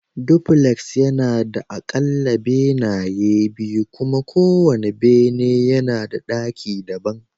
Dupuleks yana da aƙalla benaye biyu kuma kowane bene yana da ɗaki daban